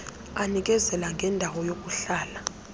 anikezela ngendawo yokuhlala